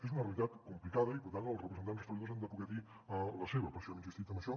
és una realitat complicada i per tant els representants dels treballadors han de poder dir la seva per això hem insistit en això